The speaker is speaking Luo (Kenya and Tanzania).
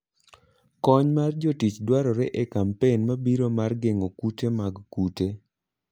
Kony mar jotich dwarore e kampen mabiro mar geng'o kute mag kute.